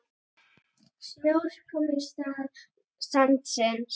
Snjór kom í stað sandsins.